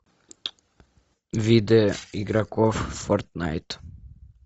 виды игроков в фортнайт